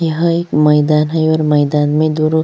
यहाँ एक मैदान है और मैदान में दो रो --